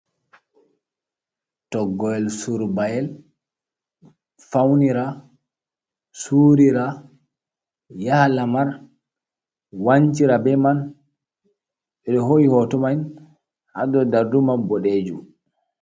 Toggoyel surbayel, fawnira, suurira, yaha lamar, wancira be man, ɓe ɗo hoi hoto mai, ha dow darduuma boɗeejum.